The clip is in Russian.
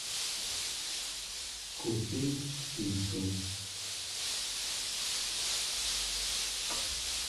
купить пиццу